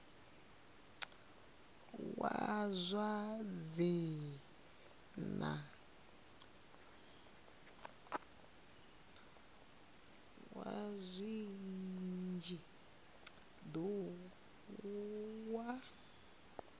wa zwa dzinn ḓu wa